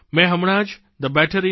મેં હમણાં જ thebetterindia